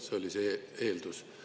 See oli see eeldus.